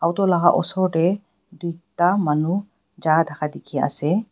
photo laga easor teh ekta manu ja thaka dekhi ase.